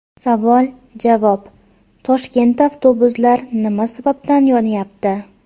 Savoljavob: Toshkentda avtobuslar nima sababdan yonyapti?.